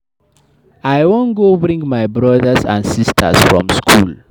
I wan go bring my broda and sista from skool.